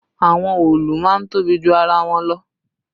Àwọn òòlù máa ń tóbi ju ara wọn lọ